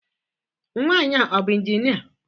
Nwanyị a ọ bụ injinia?